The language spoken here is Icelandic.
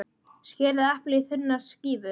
Skerið eplið í þunnar skífur.